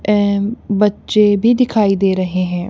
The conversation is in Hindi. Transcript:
ऍम बच्चे भी दिखाई दे रहे हैं।